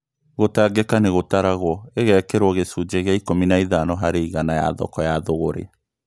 Gũtangĩka nĩgũtaragwo ĩgekĩrwo gĩcunjĩ gĩa ikũmi na ithano harĩ igana ya thoko ya thogorĩ